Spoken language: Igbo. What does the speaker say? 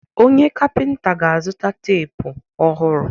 Onye kapịnta ga-azụta teepu ọhụrụ.